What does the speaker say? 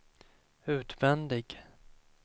utvändig